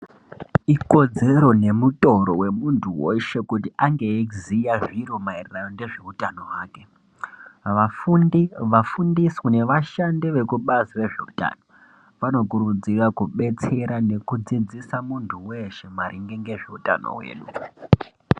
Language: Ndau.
Ikodzero nemutoro wemunthu weshe kuti ange eiziya zviro maererano nezveutano hwake vafundi vafundiswi nevashandi vekubazi rezveutano vanokurudzira kubetsera nekudzidzisa munthu weshe maringe ngezveutano hwedu.